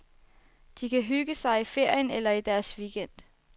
De kan hygge sig i ferien eller i deres weekend.